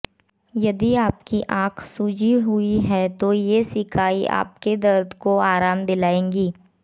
यदि आपकी आँख सूजी हुई है तो ये सिकाई आपको दर्द से आराम दिलाएगी